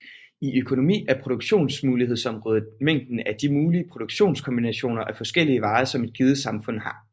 I økonomi er produktionsmulighedsområdet mængden af de mulige produktionskombinationer af forskellige varer som et givet samfund har